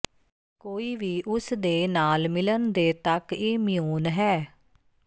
ਕੋਈ ਵੀ ਉਸ ਦੇ ਨਾਲ ਮਿਲਣ ਦੇ ਤੱਕ ਇਮਿਊਨ ਹੈ